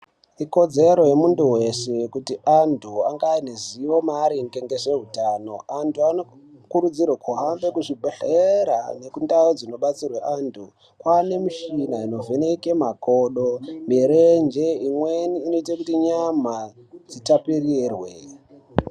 Ikodzero yemunthu weshe kuti antu ange aine ruzivo rwe zveutano. Anthu ano murudzirwe kuti aende kuzvibhedhlera nekundau dzino detserwe anthu. Kwaane michhini you ino vheneka makodo, mirenje imweni inoite kuti nyama dzitapirirwe.